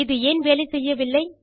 இது ஏன் வேலை செய்யவில்லை